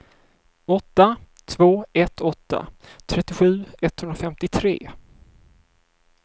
åtta två ett åtta trettiosju etthundrafemtiotre